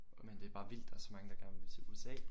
Og men det er bare vildt der er så mange der gerne vil til USA